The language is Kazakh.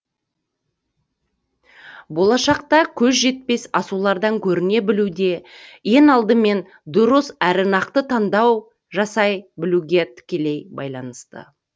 болашақта көз жетпес асулардан көріне білу де ең алдымен дұрыс әрі нақты таңдау жасай білуге тікелей байланысты